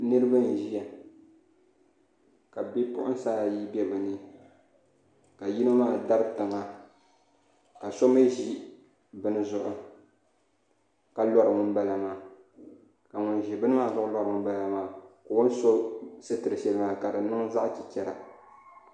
Niraba n ʒiya ka bipuɣunsi ayi bɛ bi puuni ka yino maa dabi tiŋa ka so mii ʒi bini zuɣu ka lori ŋunbala maa ka ŋun ʒi bini maa zuɣu lori ŋunbala maa ka o ni so sitiri shɛli maa ka di niŋ zaɣ chichɛra